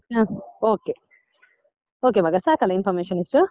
ಹಾ okay okay ಮಗ ಸಾಕಲ್ಲ information ಇಷ್ಟು?